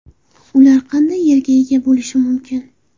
Ular qanday yerga ega bo‘lishi mumkin?